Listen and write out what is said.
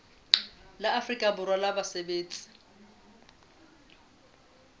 la afrika borwa la basebetsi